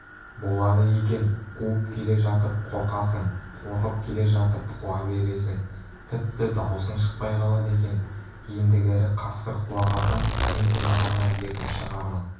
болады екен қуып келе жатып қорқасың қорқып келе жатып қуа бересің тіпті даусың шықпай қалады екен ендігәрі қасқыр қуа қалсам мен сені ғана ертіп шығармын